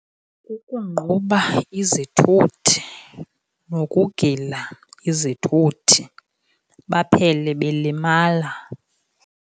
Kukungquba izithuthi nokugila izithuthi baphele belimala.